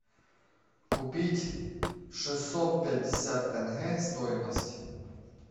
купить шестьсот пятьдесят тенге стоимость